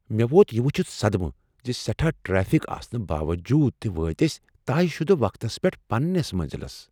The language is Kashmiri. مےٚ ووت یہِ وٖچھتھ صدمہٕ ز سیٹھا ٹرٛیفک آسنہٕ باووٚجوٗد تہ وٲتۍ أسۍ طے شدٕ وقتس پیٹھ پنٛنس مٔنٛزلس !"